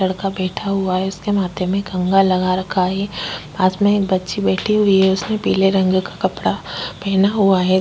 लड़का बैठा हुआ है। उसके माथे में कंघा लगा रखा है। पास में एक बच्ची बैठी हुई है। उसने पीले रंग का कपड़ा पेहना हुआ है।